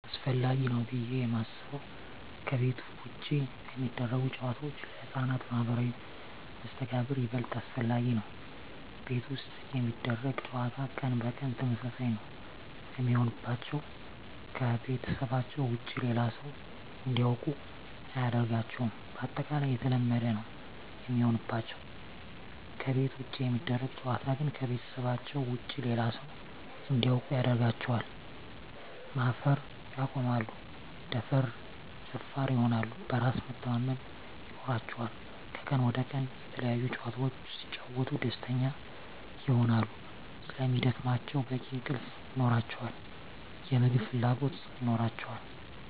አሰፈላጊ ነው ብዬ የማስበው ከቤት ውጭ የሚደረጉ ጨዋታዎች ለህፃናት ማህበራዊ መስተጋብር ይበልጥ አስፈላጊ ነው። ቤት ውስጥ የሚደረግ ጨዋታ ቀን በቀን ተመሳሳይ ነው የሚሆንባቸው , ከቤተሰባቸው ውጭ ሌላ ሰው እንዲያውቁ አያደርጋቸውም ባጠቃላይ የተለመደ ነው የሚሆንባቸው። ከቤት ውጭ የሚደረግ ጨዋታ ግን ከቤተሰባቸው ውጭ ሌላ ሰው እንዲያውቁ ያደርጋቸዋል, ማፈር ያቆማሉ, ደፋር ይሆናሉ, በራስ መተማመን ይኖራቸዋል," ከቀን ወደ ቀን የተለያዪ ጨዋታዎች ሲጫወቱ ደስተኛ ይሆናሉ ስለሚደክማቸው በቂ እንቅልፍ ይኖራቸዋል, የምግብ ፍላጎት ይኖራቸዋል።